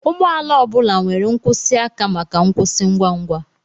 Ụgbọ ala ọ bụla nwere nkwụsị aka maka nkwụsị ngwa ngwa